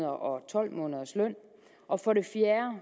og tolv måneders løn og for det fjerde